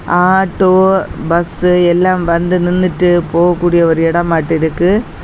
Auto bus எல்லாம் வந்து நின்னுட்டு போகக் கூடிய ஒரு இடம் மாட்டு இருக்கு.